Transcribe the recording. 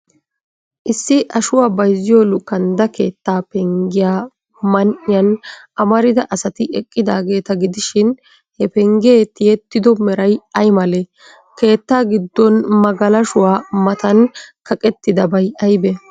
Issi ashuwa bayzziyoo luukandda keettaa penggiyaa man''iyan amarida asati eqqidaageeta gidishin, he penggee tiyettido meray ay malee? Keettaa giddon magalashuwa matan kaqettidabay aybee?